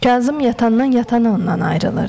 Kazım yatandan yatana ondan ayrılırdı.